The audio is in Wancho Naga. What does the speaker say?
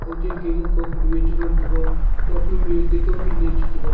kau ten ke yu ka konyu che ngan taiga tokphai mi ate kaukhin ne che tega.